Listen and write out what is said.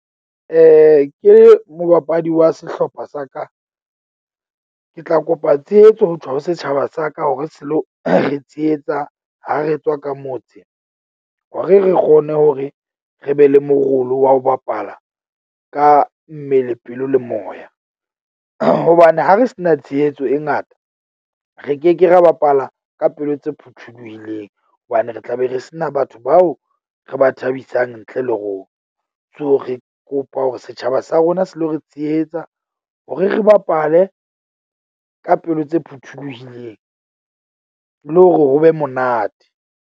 Ke le mobapadi wa sehlopha sa ka, ke tla kopa tshehetso ho tswa ho setjhaba sa ka, hore se lo re tshehetsa ha re tswa ka motse. Hore re kgone hore re be le morolo wa ho bapala ka mmele, pelo le moya. Hobane ha re se na tshehetso e ngata, re keke ra bapala ka pelo tse phuthuluhileng hobane re tla be re sena batho bao re ba thabisang ntle le rona. So, re kopa hore setjhaba sa rona se lo re tshehetsa hore re bapale ka pelo tse phuthulohileng, le hore ho be monate.